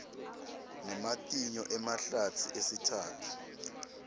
nematinyo emahlatsi esitsatfu